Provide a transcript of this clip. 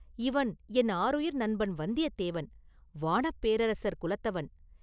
இவன் என் ஆருயிர் நண்பன் வந்தியத்தேவன், வாணப் பேரரசர் குலத்தவன்.